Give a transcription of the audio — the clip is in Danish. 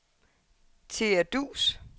Thea Duus